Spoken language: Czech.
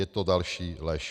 Je to další lež.